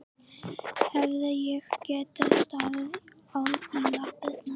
Hefði ég getað staðið í lappirnar?